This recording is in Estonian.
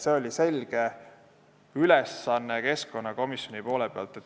See oli keskkonnakomisjoni arvates selge ülesanne.